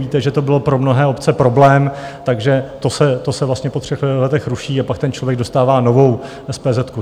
Víte, že to bylo pro mnohé obce problém, takže to se vlastně po třech letech ruší a pak ten člověk dostává novou SPZ.